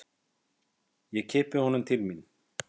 Ég kippi honum til mín.